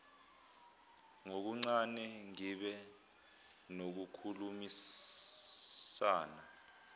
ngokuncane ngibe nokukhulumisana